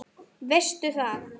Veistu það?